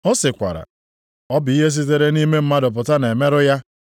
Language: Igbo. Ọ sịkwara, “Ọ bụ ihe sitere nʼime mmadụ pụta na-emerụ ya.